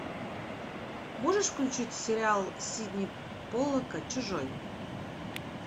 можешь включить сериал сидни поллака чужой